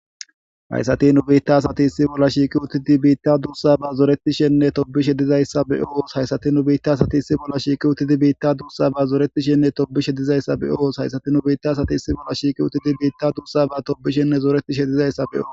hayssati nu biitta asati issi bolla shiiqi utidi biitta duussa ba zoretishenne tobishe dizayssa be oos hayssati nu biitta asati issi bolla shiiqi utidi biitta duussa ba zoretishenne tobishe dizayssa be oos hayssati nu biitta asati issi bolla shiiqi utidi biitta duussa ba tobishenne zooretishe dizayssa beoos